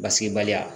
Basigibaliya